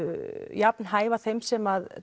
jafn hæfa þeim sem